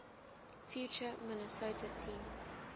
future minnesota team